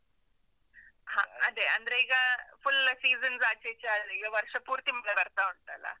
ಹ, ಅದೇ ಅಂದ್ರೆ ಈಗ full seasons ಆಚೀಚೆ ಆಗಿ, ಈಗ ವರ್ಷ ಪೂರ್ತಿ ಮಳೆ ಬರ್ತಾ ಉಂಟಲ್ಲ?